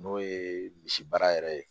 N'o ye misi baara yɛrɛ ye